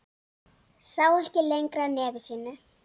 Sá ekki lengra nefi sínu.